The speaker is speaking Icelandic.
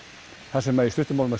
þar sem í stuttu máli